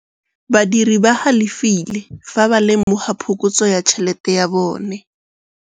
Badiri ba galefile fa ba lemoga phokotsô ya tšhelête ya bone.